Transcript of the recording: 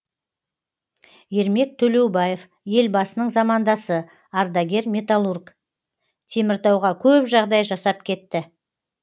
ермек төлеубаев елбасының замандасы ардагер металлург теміртауға көп жағдай жасап кетті